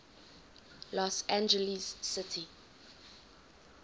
los angeles city